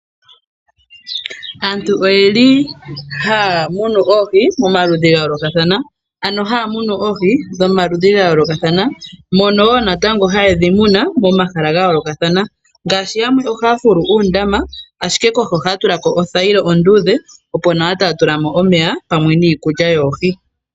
Aantu oyeli haya munu oohi pamaludhi gayolokathana .Ano haya munu oohi dho maludhi gayolokathana moka woo natango haye dhimuna momahala gayolokathana ngaashi yamwe ohaya fululu uundama ashike kohi ohaya tulako othayila ondudhe opo nawa tatula mo omeya pamwe niikulya yohi.